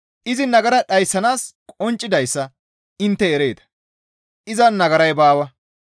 Izi nagara dhayssanaas qonccidayssa intte ereeta; izan nagaray baawa.